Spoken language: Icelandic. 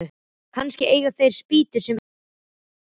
Kannski eiga þeir spýtur sem hann getur fengið.